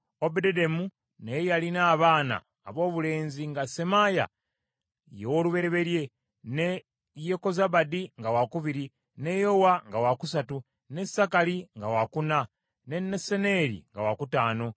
Obededomu naye yalina abaana aboobulenzi nga Semaaya ye w’olubereberye, ne Yekozabadi nga wakubiri, ne Yowa nga wakusatu, ne Sakali nga wakuna, ne Nesaneeri nga wakutaano,